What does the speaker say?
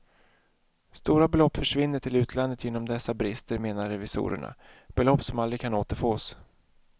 Stora belopp försvinner till utlandet genom dessa brister, menar revisorerna, belopp som aldrig kan återfås.